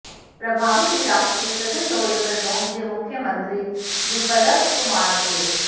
प्रभावित इलाकों के सघन दौरे पर पहुंचे मुख्यमंत्री बिप्लब कुमार देब